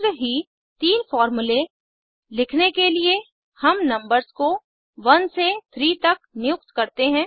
शीघ्र ही तीन फॉर्मूले लिखने के लिए हम नंबर्स को 1 से 3 तक नियुक्त करते हैं